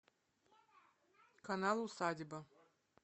канал усадьба